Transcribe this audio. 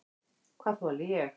Hvað þoli ég?